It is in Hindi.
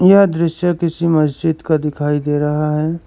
यह दृश्य किसी मस्जिद का दिखाई दे रहा है।